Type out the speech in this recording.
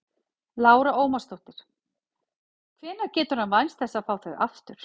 Lára Ómarsdóttir: Hvenær getur hann vænst þess að fá þau aftur?